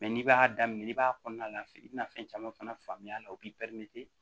n'i b'a daminɛ n'i b'a kɔnɔna la i bɛna fɛn caman fana faamuya a la u bɛ